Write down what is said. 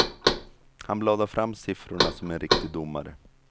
Han bladar fram siffrorna som en riktig domare.